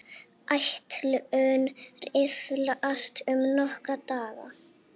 Áætlun riðlast um nokkra daga.